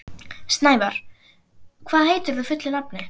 Snævar, hvað heitir þú fullu nafni?